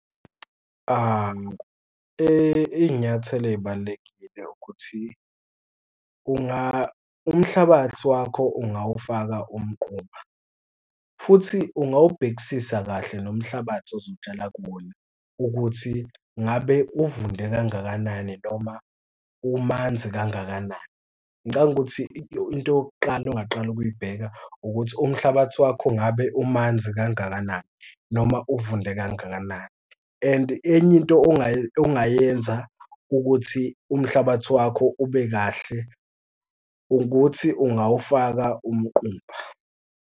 Iy'nyathelo ey'balulekile ukuthi umhlabathi wakho ungawufaka umquba, futhi ungawubhekisisa kahle nomhlabathi ozotshala kuwona ukuthi ungabe uvunde kangakanani noma umanzi kangakanani. Ngicabanga ukuthi into yokuqala ongaqala ukuyibheka ukuthi umhlabathi wakho ngabe umanzi kangakanani noma uvunde kangakanani. And enye into ongayenza ukuthi umhlabathi wakho ube kahle ukuthi ungawufaka umquba.